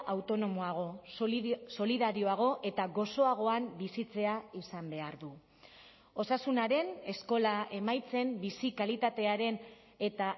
autonomoago solidarioago eta gozoagoan bizitzea izan behar du osasunaren eskola emaitzen bizi kalitatearen eta